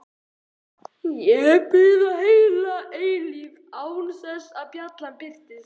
Við biðum heila eilífð án þess að bjallan birtist.